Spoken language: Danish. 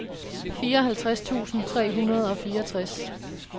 fireoghalvtreds tusind tre hundrede og fireogtres